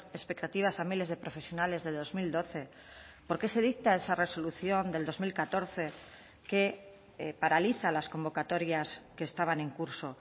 expectativas a miles de profesionales de dos mil doce por qué se dicta esa resolución del dos mil catorce que paraliza las convocatorias que estaban en curso